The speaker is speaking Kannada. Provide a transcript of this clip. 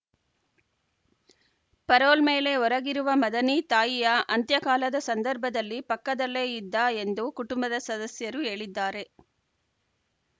ಪರೋಲ್‌ ಮೇಲೆ ಹೊರಗಿರುವ ಮದನಿ ತಾಯಿಯ ಅಂತ್ಯಕಾಲದ ಸಂದರ್ಭದಲ್ಲಿ ಪಕ್ಕದಲ್ಲೇ ಇದ್ದ ಎಂದು ಕುಟುಂಬದ ಸದಸ್ಯರು ಹೇಳಿದ್ದಾರೆ